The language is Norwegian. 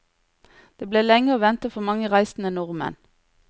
Det ble lenge å vente for mange reisende nordmenn.